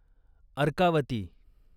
Arkavati